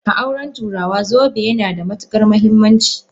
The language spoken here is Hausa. A aure turawa, zobe yana da matukar muhimmanci.